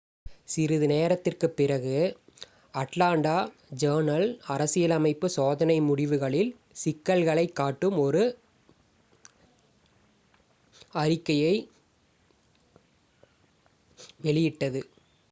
சிறிது நேரத்திற்குப் பிறகு அட்லாண்டா ஜர்னல்-அரசியலமைப்பு சோதனை முடிவுகளில் சிக்கல்களைக் காட்டும் ஒரு அறிக்கையை வெளியிட்டது